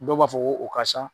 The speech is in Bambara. Dɔw b'a fɔ ko o siya.